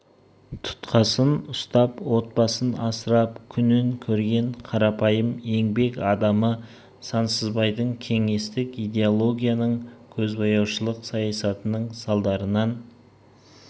тұтқасын ұстап отбасын асырап күнін көрген қарапайым еңбек адамы сансызбайдың кеңестік идеологияның көзбояушылық саясатының салдарынан